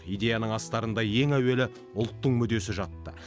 идеяның астарында ең әуелі ұлттың мүддесі жатты